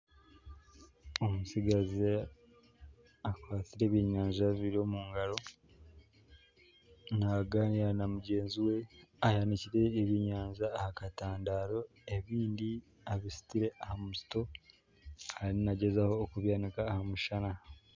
Omutsigazi akwatsire ebyenyanja bibiri omu ngaro nagaanira na mugyenzi we ayanikire ebyenyanja aha katandaaro ebindi abisitire aha musito ariyo nagyezaho okubyanika aha mushana